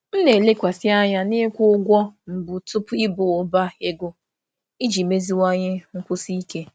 M na-elekwasị anya n'ịkwụ ụgwọ mbụ tupu ịba ụba ego iji meziwanye nkwụsi ike.